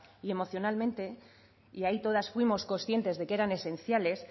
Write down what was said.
y emocionalmente y ahí todas fuimos conscientes de que eran esenciales